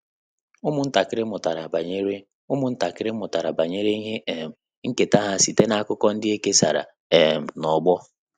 Ụ́mụ́ntàkị́rị́ mụ́tàrà banyere Ụ́mụ́ntàkị́rị́ mụ́tàrà banyere ihe um nkèta ha site n’ákụ́kọ́ ndị é kèsàrà um n’ọ́gbọ́.